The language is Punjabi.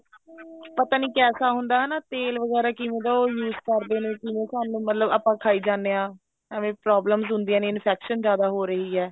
ਪਤਾ ਨੀ ਕੈਸਾ ਹੁੰਦਾ ਤੇਲ ਵਗੈਰਾ ਕੀ ਹੁੰਦਾ ਉਹ use ਕਰਦੇ ਨੇ ਜਿਵੇਂ ਸਾਨੂੰ ਮਤਲਬ ਆਪਾਂ ਖਾਈ ਜਾਣੇ ਹਾਂ ਏਵੇਂ problems ਹੁੰਦੀਆਂ ਨੇ infection ਜਿਆਦਾ ਹੋ ਰਹੀ ਹੈ